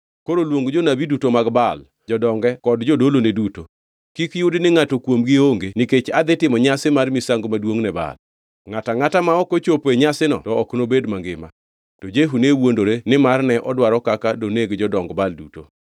Koro luong jonabi duto mag Baal, jodonge duto kod jodolone duto. Kik yudi ni ngʼato kuomgi onge nikech adhi timo nyasi mar misango maduongʼ ne Baal. Ngʼato angʼata ma ok ochopo e nyasino to ok nobed mangima.” To Jehu ne wuondore nimar ne odwaro kaka doneg jodong Baal duto.